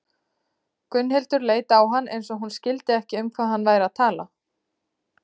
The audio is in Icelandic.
Gunnhildur leit á hann eins og hún skildi ekki um hvað hann væri að tala.